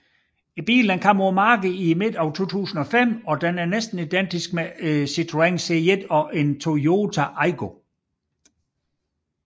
Bilen kom på markedet i midten af 2005 og er næsten identisk med Citroën C1 og Toyota Aygo